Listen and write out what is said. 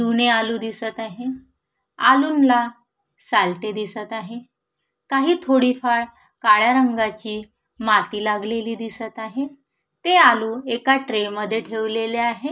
जुने आलू दिसत आहे आलूनला सालटे दिसत आहे काही थोडी फार काळ्या रंगाची माती लागलेली दिसत आहे ते आलू एका ट्रे मध्ये ठेवलेले आहे.